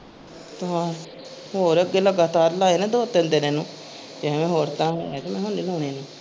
ਹਾਂ ਹੋਰ ਅਗੇ ਲਗਾਤਾਰ ਲਾਏ ਨਾ ਦੋ ਤਿੰਨ ਦਿਨ ਇਹਨੂੰ ਇਹਨੂੰ ਹੋਰ ਤਰਾਂ ਲਾਉਣੇ।